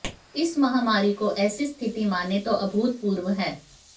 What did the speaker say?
इस महामारी को ऐसी स्थिति मानें जो अभूतपूर्व है